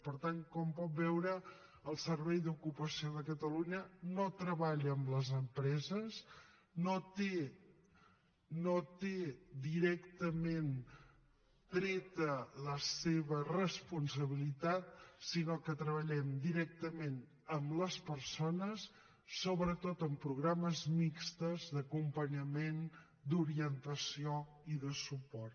per tant com pot veure el servei d’ocupació de catalunya no treballa amb les empreses no té directament treta la seva responsabilitat sinó que treballem directament amb les persones sobretot amb programes mixtos d’acompanyament d’orientació i de suport